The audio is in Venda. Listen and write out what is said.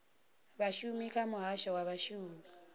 vhashumi kha muhasho wa vhashumi